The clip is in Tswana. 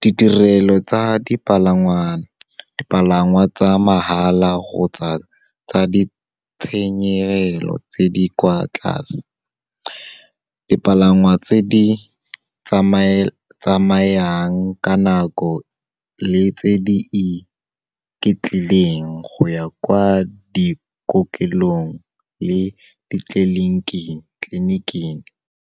Ditirelo tsa dipalangwa tsa mahala kgotsa tsa ditshenyegelo tse di kwa tlase. Dipalangwa tse di tsamayang ka nako le tse di iketlileng go ya kwa dikokelong le tleliniking.